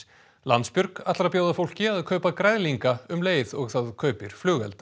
Landsbjörg ætlar að bjóða fólki að kaupa græðlinga um leið og það kaupir flugelda